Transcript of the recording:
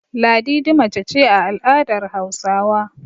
Ladidi mace ce a al'adar Hausawa.